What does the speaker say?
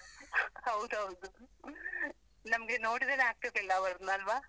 ಹೌದೌದು, ನಮ್ಗೆ ನೋಡ್ತಿದ್ರೆನೇ ಆಗ್ತಾ ಇರ್ಲಿಲ್ಲ ಅವರನ್ನು, ಅಲ್ವಾ?